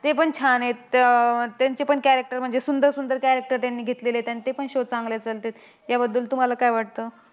तेपण छान आहेत. अह त्यांचेपण character म्हणजे सुंदर सुंदर character त्यांनी घेतलेले आहेत, आणि तेपण shows चांगले चालतात. याबद्दल तुम्हाला काय वाटतं?